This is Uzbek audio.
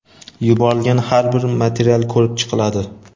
yuborilgan har bir material ko‘rib chiqiladi.